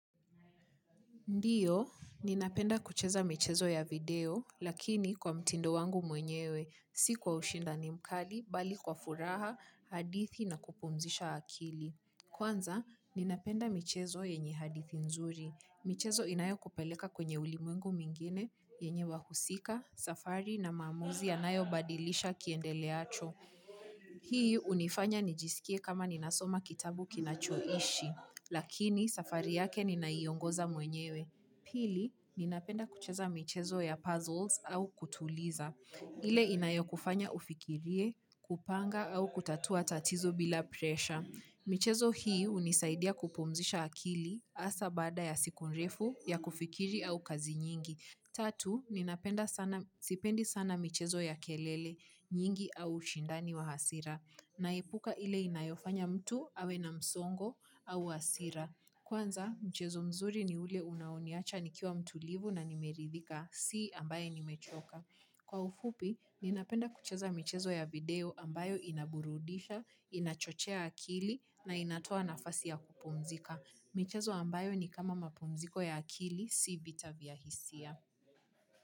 Ndio, ninapenda kucheza michezo ya video, lakini kwa mtindo wangu mwenyewe, si kwa ushindani mkali, bali kwa furaha, hadithi na kupumzisha akili. Kwanza, ninapenda michezo yenye hadithi nzuri. Michezo inayokupeleka kwenye ulimwengu mwingine, yenye wahusika, safari na maamuzi yanayobadilisha kiendeleacho. Hii hunifanya nijisikie kama ninasoma kitabu kinachoishi, lakini safari yake ninaiongoza mwenyewe. Pili, ninapenda kucheza michezo ya puzzles au kutuliza. Ile inayokufanya ufikirie, kupanga au kutatua tatizo bila presha. Michezo hii hunisaidia kupumzisha akili hasa baada ya siku refu ya kufikiri au kazi nyingi. Tatu, sipendi sana michezo ya kelele nyingi au ushindani wa hasira. Naepuka ile inayofanya mtu awe na msongo au hasira. Kwanza, mchezo mzuri ni ule unaoniacha nikiwa mtulivu na nimeridhika, si ambaye nimechoka. Kwa ufupi, ninapenda kucheza michezo ya video ambayo inaburudisha, inachochea akili na inatoa nafasi ya kupumzika. Michezo ambayo ni kama mapumziko ya akili, si vita vya hisia.